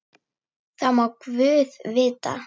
Það má guð vita.